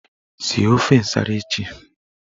Sie ofe nsara echi!